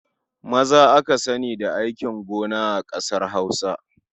Maza aka sani da aikin gon a ƙasar Hausa.